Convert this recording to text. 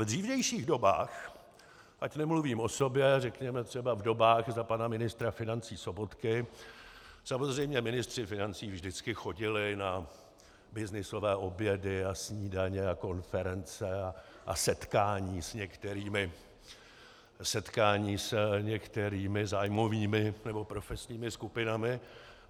V dřívějších dobách, ať nemluvím o sobě, řekněme třeba v dobách za pana ministra financí Sobotky, samozřejmě ministři financí vždycky chodili na byznysové obědy a snídaně a konference a setkání s některými zájmovými nebo profesními skupinami.